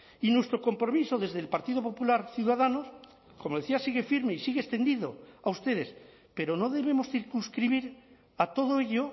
y nuestro compromiso desde el partido popular ciudadanos como decía sigue firme y sigue extendido a ustedes pero no debemos circunscribir a todo ello